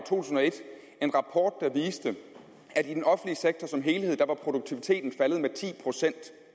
tusind og et en rapport der viste at i den offentlige sektor som helhed var produktiviteten faldet med ti procent